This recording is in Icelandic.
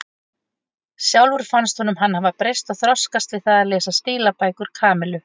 Sjálfum fannst honum hann hafa breyst og þroskast við það að lesa stílabækur Kamillu.